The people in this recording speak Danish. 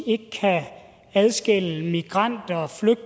ikke kan adskille migranter